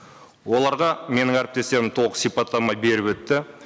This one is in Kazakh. оларға менің әріптестерім толық сипаттама беріп өтті